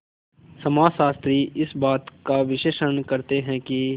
समाजशास्त्री इस बात का विश्लेषण करते हैं कि